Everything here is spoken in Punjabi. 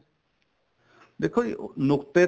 ਦੇਖੋ ਜੀ ਉਹ ਨੁਕਤੇ